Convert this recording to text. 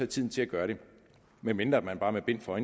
tiden til at gøre det medmindre man bare med bind for